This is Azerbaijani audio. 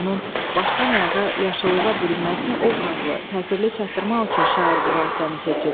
onun başdan ayağa yaşıllığa bürünməsini obrazlı, təsirli çatdırmaq üçün şair bu vasitəni seçib.